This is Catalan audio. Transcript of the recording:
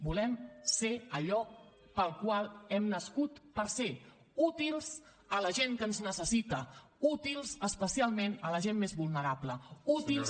volem ser allò pel qual hem nascut per ser útils a la gent que ens necessita útils especialment a la gent més vulnerable útils